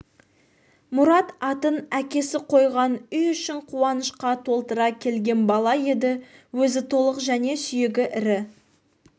мұрат атын әкесі қойған үй ішін қуанышқа толтыра келген бала еді өзі толық және сүйегі ірі